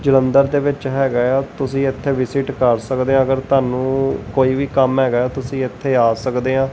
ਜੋ ਅੰਦਰ ਦੇ ਵਿਚ ਹੈਗਾ ਹੈ ਤੁਸੀ ਇੱਥੇ ਵਿਜ਼ਿਟ ਕਰ ਸਕਦੇ ਹੋ ਅਗਰ ਤੁਹਾਨੂੰ ਕੋਈ ਵੀ ਕੰਮ ਹੈਗਾ ਹੈ ਤੁਸੀ ਇੱਥੇ ਆ ਸਕਦੇ ਹੋ।